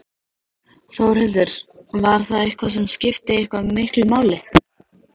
Þórhildur: Var það eitthvað sem skipti eitthvað miklu máli?